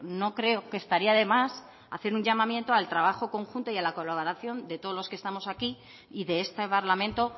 no creo que estaría de más hacer un llamamiento al trabajo conjunto y la colaboración de todos los que estamos aquí y de este parlamento